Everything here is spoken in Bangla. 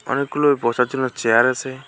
অনেকগুলো বসার জন্য চেয়ার আসে।